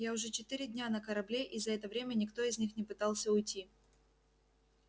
я уже четыре дня на корабле и за это время никто из них не пытался уйти